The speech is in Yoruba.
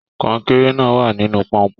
Kọnkéré náà wà nínú pọ́npọ́n.